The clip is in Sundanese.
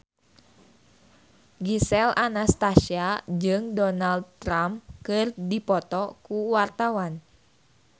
Gisel Anastasia jeung Donald Trump keur dipoto ku wartawan